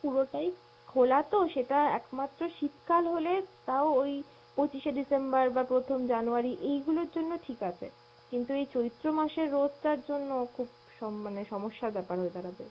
পুরোটাই খোলা তো, সেটা একমাত্র শীত কাল হলে তাও ওই পঁচিশে december বা প্রথম january এইগুলোর জন্য ঠিক আছে, কিন্ত এই চৈত্র মাসের রোদ টার জন্য খুব সম~ মানে সমস্যার ব্যপার হয়ে দাড়াবে।